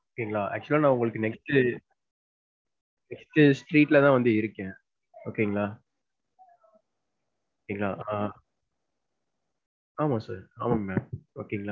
Okay ங்களா. actual ஆ நான் உங்களுக்கு next next street ல தான் நான் வந்து இருக்கேன். okay ங்களா. okay ங்களா. அஹ் ஆமா sir ஆமா mam okay ங்களா.